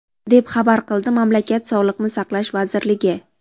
deb xabar qildi mamlakat Sog‘liqni saqlash vazirligi.